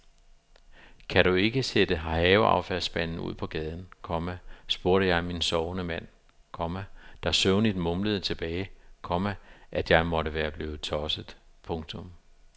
Kan du ikke sætte haveaffaldsspanden ud på gaden, komma spurgte jeg min sovende mand, komma der søvnigt mumlede tilbage, komma at jeg måtte være blevet tosset. punktum